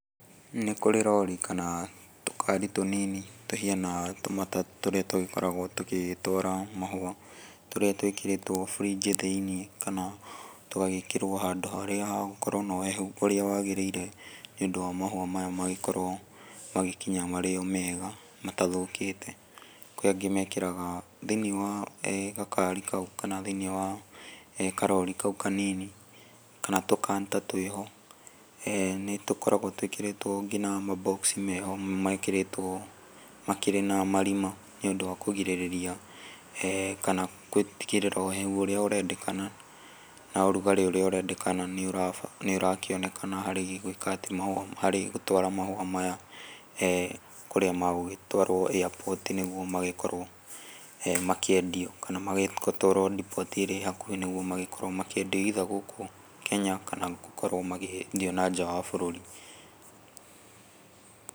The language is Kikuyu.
Nĩkũrĩ rori kana tũkari tũnini tũhiana tũmatatũ tũrĩa tũgĩkoragwo tũgĩtwara mahũa, tũrĩa twĩkĩrĩtwo burinji thĩinĩ kana tũgagĩkĩrwo handũ harĩa hegũkorwo na ũhehu ũrĩa wagĩrĩire nĩũndũ wa mahũa maya magĩkorwo magĩkinya marĩ omega, matathũkĩte. Kwĩ angĩ mekĩraga, thĩinĩ wa gakari kau kana thĩinĩ wa karori kau kanini, kana tũkanta twĩho, nĩtũkoragwo twĩkĩrĩtwo nginya mambokci meho mekĩrĩtwo makĩrĩ na marima nĩũndũ wa kũgirĩrĩria kana gũtigĩrĩra ũhehu ũrĩa ũrendekana na ũrugarĩ ũrĩa ũrendekana nĩũrakĩonekana harĩ gũtwara mahũa maya kũrĩa megũgĩtwarwo air port nĩguo magĩkorwo makĩendio kana magĩtwarwo ndipoti ĩrĩa ĩhakuhĩ nĩguo makĩendio ĩitha gũkũ Kenya kana gũkorwo makĩendio nanja wa bũrũri.